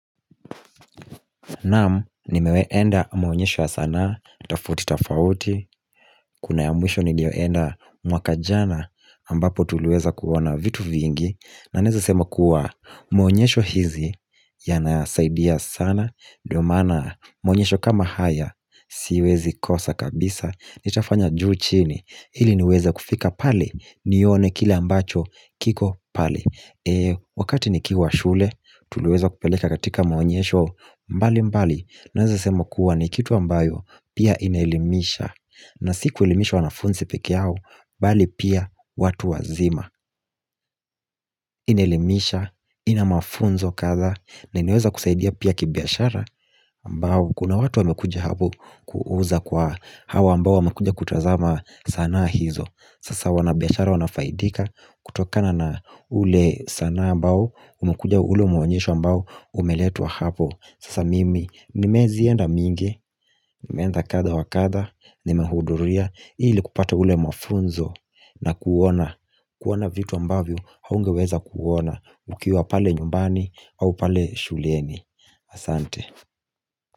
Naam nimewai enda mwonyesho ya sanaa, tafauti tafauti, kuna ya mwisho niliyoenda mwaka jana ambapo tuliweza kuona vitu vingi na naeza sema kuwa mwonyesho hizi yanasaidia sana, ndio maana mwonyesho kama haya siwezi kosa kabisa Nitafanya juu chini, hili niweza kufika pale, nione kilw mbacho kiko pale Wakati nikiwa shule Tuliweza kupeleka katika maonyesho mbali mbali Naweza sema kuwa ni kitu ambayo Pia inaelimisha na si kuelimisha wanafunzi pekee yao Bali pia watu wazima Inaelimisha ina mafunzo kadhaa na inaweza kusaidia pia kibiashara aMbao kuna watu wamekujq hapo kuuza kwa hawa ambao wamekujia kutazama sana hizo Sasa wanabiashara wanafaidika kutokana na ule sanaa ambao Umekuja ule muonyesho ambao umeletwa hapo Sasa mimi nimezienda mingi nimeenda kadaa wa kadha Nimehudhuria ili kupata ule mafunzo na kuona kuona vitu ambavyo haungeweza kuona Ukiwa pale nyumbani au pale shuleni Asante.